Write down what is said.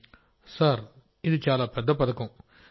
రాజేష్ ప్రజాపతి సార్ఇది చాలా పెద్ద పథకం